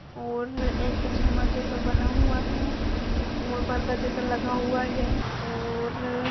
और एक झूमर जैसा बना हुआ है और पर्दा जैसा लगा हुआ है और --